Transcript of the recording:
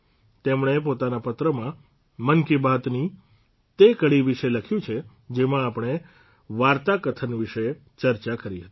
તેમણે પોતાના પત્રમાં મન કી બાતની તે કડી વિશે લખ્યું છે જેમાં આપણે વાર્તાકથન વિશે ચર્ચા કરી હતી